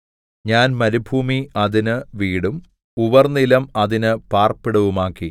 ഞാൻ മരുഭൂമി അതിന് വീടും ഉവർനിലം അതിന് പാർപ്പിടവുമാക്കി